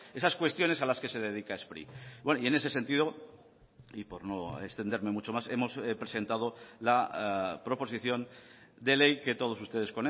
esas cuestiones a las que se dedica spri bueno y en ese sentido y por no extenderme mucho más hemos presentado la proposición de ley que todos ustedes